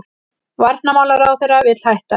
Varnarmálaráðherra vill hætta